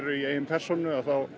í eigin persónu